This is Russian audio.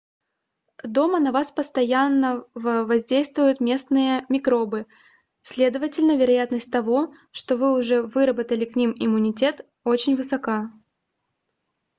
дома на вас постоянного воздействуют местные микробы следовательно вероятность того что вы уже выработали к ним иммунитет очень высока